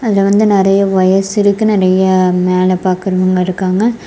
இதுல வந்து நறைய வயர்ஸ் இருக்கு நறைய மேல பாக்குறவங்க இருக்காங்க.